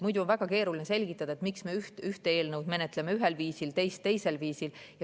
Muidu oleks väga keeruline selgitada, miks me ühte eelnõu menetleme ühel viisil, teist teisel viisil.